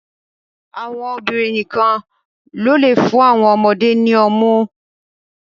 Àwọn obìnrin nìkan ní o le fún awọn ọmọde ni ọmu